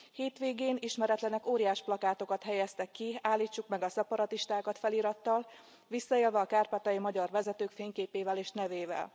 Hétvégén ismeretlenek óriásplakátokat helyeztek ki Állítsuk meg a szeparatistákat felirattal, visszaélve a kárpátaljai magyar vezetők fényképével és nevével.